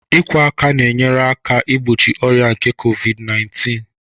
Ikwọ aka na-enyere aka igbochi ọrịa nke Covid naintịn